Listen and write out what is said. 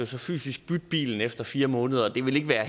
så fysisk bytte bilen efter fire måneder og det vil ikke være